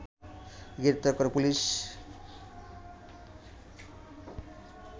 গ্রেপ্তার করে পুলিশ